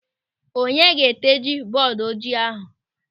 Onye ga-eteji bọọdu ojii ahụ?